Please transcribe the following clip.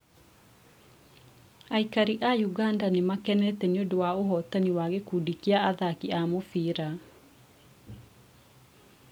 Aikari a ũganda nĩmakenete nĩũndũ wa ũhotani wa gĩkundi kĩa athaki a mũbira